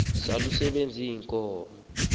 sazal isibaya ziinkomo